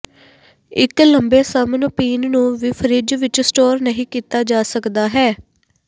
ਇੱਕ ਲੰਬੇ ਸਮ ਨੂੰ ਪੀਣ ਨੂੰ ਵੀ ਫਰਿੱਜ ਵਿੱਚ ਸਟੋਰ ਨਹੀ ਕੀਤਾ ਜਾ ਸਕਦਾ ਹੈ